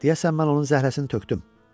Deyəsən mən onun zəhləsini tökdüm.